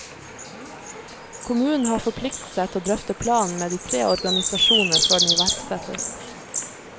Kommunen har forpliktet seg til å drøfte planen med de tre organisasjonene før den iverksettes.